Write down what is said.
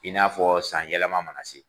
I n'a fɔ san yɛlɛma mana se.